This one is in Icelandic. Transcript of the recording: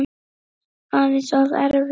Aðeins of erfitt.